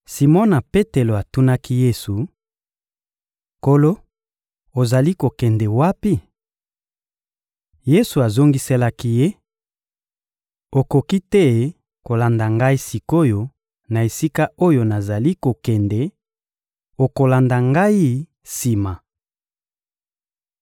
Simona Petelo atunaki Yesu: — Nkolo, ozali kokende wapi? Yesu azongiselaki ye: — Okoki te kolanda Ngai sik’oyo na esika oyo nazali kokende; okolanda Ngai sima.